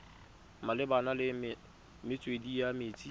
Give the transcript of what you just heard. malebana le metswedi ya metsi